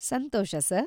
Santhosh, sir.